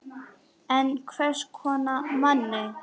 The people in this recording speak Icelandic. En hvers konar manni?